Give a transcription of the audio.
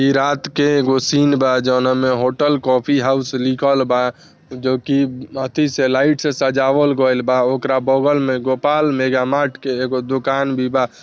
ई रात का एकगो सीन बा जोनोमे होटल कॉफी हाउस लिखल बा जो की अतीसय लाइट से सजावल गोयल बा औकरा बगल में गोपाल मेगा मार्ट एक गो दूकान भी बा ।